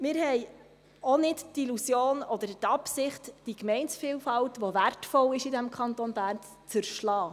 Wir haben auch nicht die Illusion oder die Absicht, die Gemeindevielfalt, die in diesem Kanton Bern wertvoll ist, zu zerschlagen.